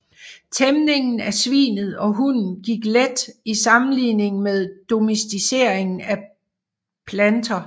Tæmningen af svinet og hunden gik let i sammenligning med domesticeringen af planteer